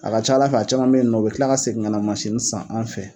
A ka ca Ala fɛ a caman bɛ yen nɔ u bɛ kila ka segin ka mansini san an fɛ.